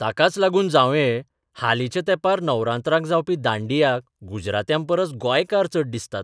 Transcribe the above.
ताकाच लागून जांवये, हालींच्या तेंपार नवरात्रांक जावपी दांडियाक गुजरात्यांपरस गोंयकार चड दिसतात.